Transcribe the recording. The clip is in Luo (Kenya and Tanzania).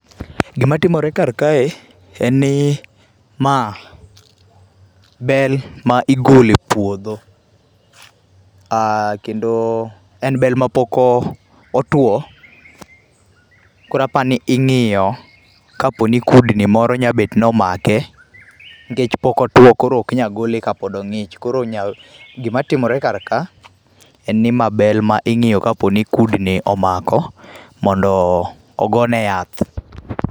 Gima timore karkae, en ni, ma bel ma igolo e puodho. um Kendo en bel ma pok otwo, koro aparo ni ingíyo ka poni kudni moro nyalo bet ni omake, nikech pok otwo koro oknya gole ka pod ongích. Koro gima timore karka, en ni ma bel ma ingíyo ka poni kudni omako mondo o ogone yath.